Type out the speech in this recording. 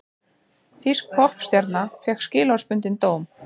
Þýsk poppstjarna fékk skilorðsbundinn dóm